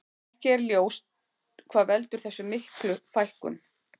Ekki er ljós hvað veldur þessar miklu fækkun.